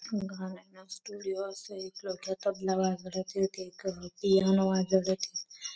गाना ना स्टूडियो असे नवात कमेटी दोन तीन वेळ बरं येईल.